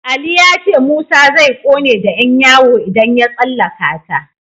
Ali ya ce Musa zai ƙone da Yan yawo idan ya tsallaka ta.